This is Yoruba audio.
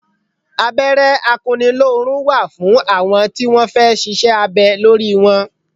Abẹ́rẹ́ akunnilórun wà fún àwọn tí wọn fẹ́ ṣíṣe abẹ lórí wọn.